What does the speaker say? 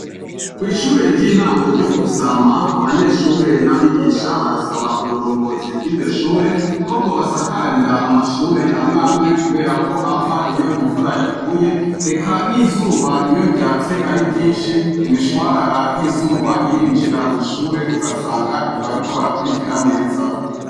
Kw'ishure ry'intango ryo Kurusama abanyeshure n'abigisha barasaba uburongozi bw'iryo shure ko bwobasakarira amashure amwamwe kubera ko ava iyo imvura yaguye ,eka n'izuba iyo ryatse ari ryinshi imishwarara y'izuba irinjira mw'ishure ugasanga ntibariko barakurikira neza.